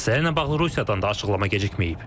Məsələ ilə bağlı Rusiyadan da açıqlama gecikməyib.